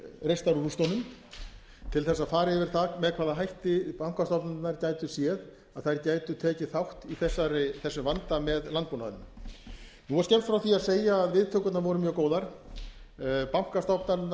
reistar úr rústunum til þess að fara yfir það með hvaða hætti bankastofnanirnar gætu séð að þær gætu tekið þátt í þessum vanda með landbúnaðinum nú er skemmt frá því að segja að viðtökurnar voru mjög góðar bankastofnanirnar